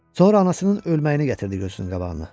Sonra anasının ölməyini gətirdi gözünün qabağına.